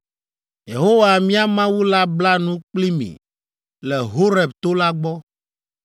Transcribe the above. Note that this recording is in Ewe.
Yehowa mía Mawu la bla nu kpli mi le Horeb to la gbɔ.